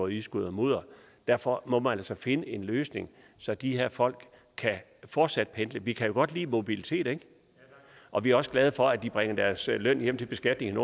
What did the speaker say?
i skuddermudder og derfor må man altså finde en løsning så de her folk fortsat kan pendle vi kan jo godt lide mobilitet og vi er også glade for at de bringer deres løn hjem til beskatning